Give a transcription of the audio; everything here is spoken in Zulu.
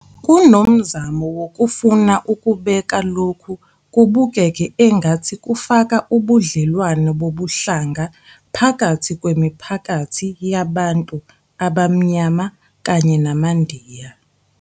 Kunomzamo wokufuna ukubeka lokhu kubukeke engathi kufaka ubudlelwane bobuhlanga phakathi kwemiphakathi yabantu abaMnyama kanye namaNdiya.